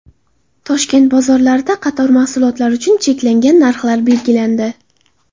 Toshkent bozorlarida qator mahsulotlar uchun cheklangan narxlar belgilandi .